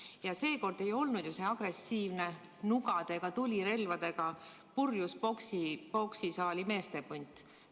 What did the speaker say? Ja seekord ei olnud see agressiivne nugadega, tulirelvadega purjus poksisaali meeste punt.